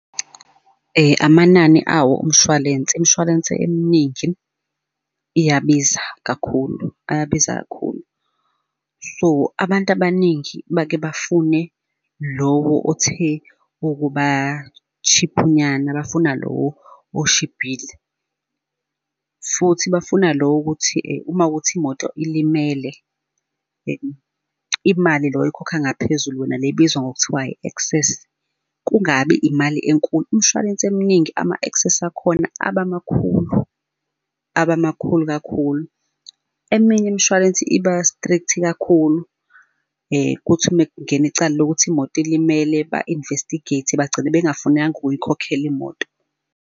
Amanani awo umshwalense, imshwalense eminingi iyabiza kakhulu, ayabiza kakhulu. So abantu abaningi bake bafune lowo othe ukuba cheap-u nyana, bafuna lo oshibhile, futhi bafuna lo wokuthi uma kuwukuthi imoto ilimele, imali lo oyikhokha ngaphezulu wena le ebizwa ngokuthiwa i-access kungabi imali enkulu. Imshwalense eminingi ama-access akhona aba makhulu, aba makhulu kakhulu. Eminye imishwalense iba-strict kakhulu kuthi uma kungena icala lokuthi imoto ilimele ba-investigate bagcine bengafunanga ukuyikhokhela imoto.